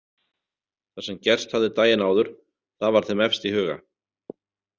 Það sem gerst hafði daginn áður, það var þeim efst í huga.